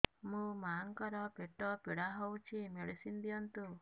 ମୋ ମାଆଙ୍କର ପେଟ ପୀଡା ହଉଛି ମେଡିସିନ ଦିଅନ୍ତୁ